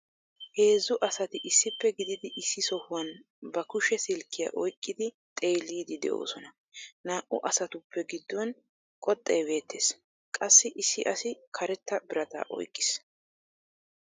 Heezzu asati issippe gididi issi sohuwan ba kushe silkkiya oyqqidi xeellidi de'oosona. Naa"u asatup giduwan koxxee bettees, qassi issi asi karettaa birataa oyqiis.